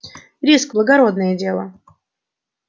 риск благородное дело